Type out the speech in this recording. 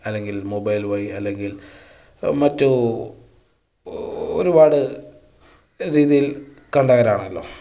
അല്ലെങ്കിൽ mobile വഴി അല്ലെങ്കിൽ മറ്റു ഒരുപാട് രീതിയിൽ കണ്ടവരാണല്ലോ.